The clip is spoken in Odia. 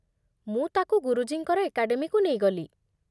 ମୁଁ ତାକୁ ଗୁରୁଜୀଙ୍କର ଏକାଡେମୀକୁ ନେଇଗଲି।